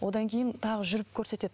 одан кейін тағы жүріп көрсетеді